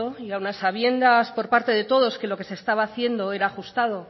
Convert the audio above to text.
y aun a sabiendas por parte de todos que lo que se estaba haciendo era ajustado